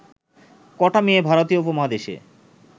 ক’টা মেয়ে ভারতীয় উপমহাদেশে